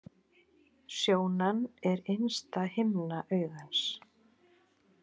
Sjónan er innsta himna augans.